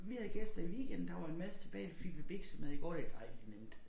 Vi havde gæster i weekenden der var en masse tilbage der fik vi biksemad i går det dejlig nemt